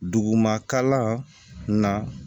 Duguma kalan na